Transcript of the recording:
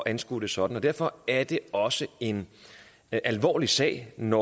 anskue det sådan derfor er det også en alvorlig sag når